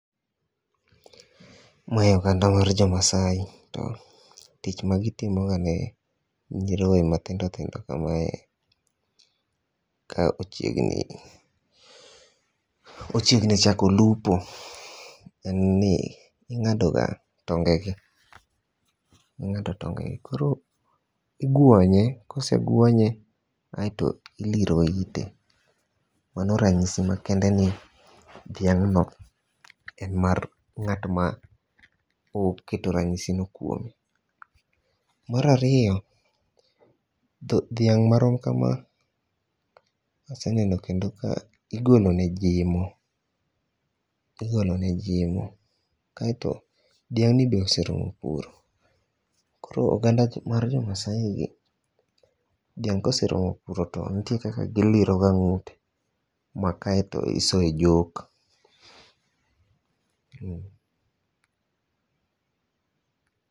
Mae oganda mar jo Maasai. To tich magitimo wangeyo. Nyiroye mathindo thindo kamae ka ochiegni chako lupo en ni ing'ado ga tonge gi. Ing'ado tonge gi. Koro igwonye. Koseguonye aeto iliro ite. Mano rachisi makende ni dhiang'no en mar ng'at ma oketo ranyiso no kuome. Mar ariyo, dhiang' marom kama aseneno kendo ka igolone jimo. Igolo ne jimo. Kaeto dhiang'ni be oseromo puro. Koro oganda mar jo Maasai gi dhiang' koseromo puro to nitiere kaka iliro ga ng'ute ma kaeto isoye jok.